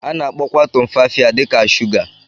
A na-akpọkwa Tumfafiya dị ka shuga.